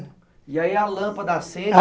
E aí a lâmpada acende?